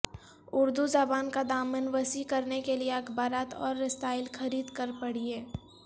اردو زبان کا دامن وسیع کرنے کیلئے اخبارات اور رسائل خرید کر پڑھیں